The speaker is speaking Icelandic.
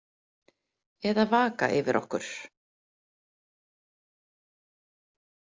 Eða vaka yfir okkur.